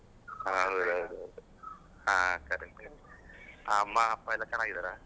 ಹ ಹೌದೌದು. ಹಾ correct correct , ಅಮ್ಮ ಅಪ್ಪ ಎಲ್ಲ ಚೆನ್ನಾಗಿದ್ದಾರ?